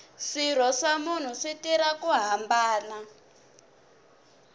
swirho swa munhu swi tirha ku hambana